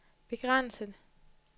begrænset